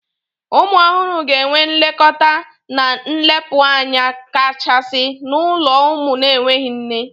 Ụmụ ọhụrụ ga-enwe nlekọta na nlekpụanya kachasị n'ulo ụmụ n'enweghị nne.